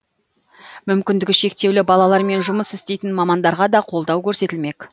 мүмкіндігі шектеулі балалармен жұмыс істейтін мамандарға да қолдау көрсетілмек